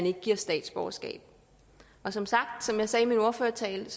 ikke gives statsborgerskab som som jeg sagde i min ordførertale